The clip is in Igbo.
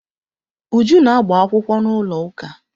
Uju na agba-akwụkwọ n'ụlọụka.